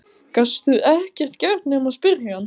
Gastu ekkert gert nema spyrja hann?